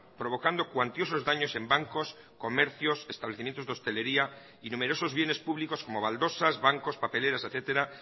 provocando cuantiosos daños en bancos comercios establecimientos de hostelería y numerosos bienes públicos como baldosas bancos papeleras etcétera